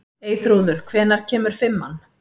Eyþrúður, hvenær kemur fimman?